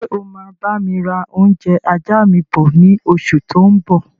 Ṣé o máa bami ra oúnjẹ ajá mi bọ̀ ni oṣù tó ń bọ̀?